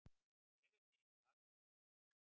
Ég er til í það.